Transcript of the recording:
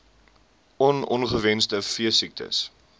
on ongewenste veesiektes